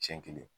Siɲɛ kelen